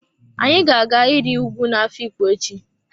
Anyi ga-aga iri ùgwù na afikpo echi.